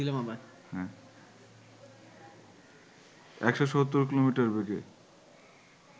১৭০ kilometre বেগে